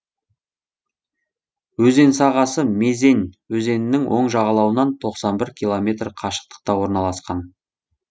өзен сағасы мезень өзенінің оң жағалауынан тоқсан бір километр қашықтықта орналасқан